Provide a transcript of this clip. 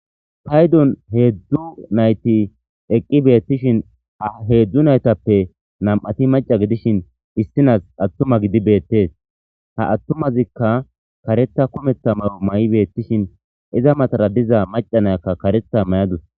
paydon heedzdzu nayti eqqi beettishin ha heedzdzu naytappe nam7ati maca gidishin issinas attuma gidi beettees ha attumazikka karetha kumetha mayo may7i beettishin iza matara diza macanayakka karetha mayadus